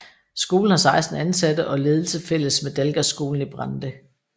Skolen har 16 ansatte og ledelse fælles med Dalgasskolen i Brande